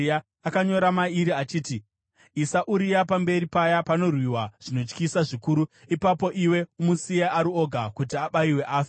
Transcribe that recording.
Akanyora mairi achiti, “Isa Uria pamberi paya panorwiwa zvinotyisa zvikuru. Ipapo iwe umusiye ari oga kuti abayiwe afe.”